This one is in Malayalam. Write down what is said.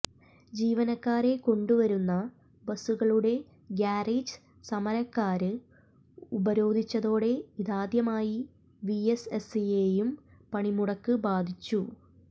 ജീവനക്കാരെ കൊണ്ടുവരുന്ന ബസ്സുകളുടെ ഗാരേജ് സമരക്കാര് ഉപരോധിച്ചതോടെ ഇതാദ്യമായി വിഎസ്എസ്സിയെയും പണിമുടക്ക് ബാധിച്ചു